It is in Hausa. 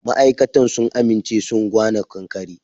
Ma'aikatan sun aminche sun gwana ƙanƙare.